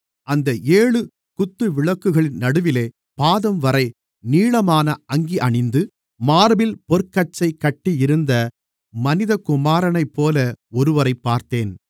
அந்த ஏழு குத்துவிளக்குகளின் நடுவிலே பாதம்வரை நீளமான அங்கி அணிந்து மார்பில் பொற்கச்சை கட்டியிருந்த மனிதகுமாரனைப்போல ஒருவரைப் பார்த்தேன்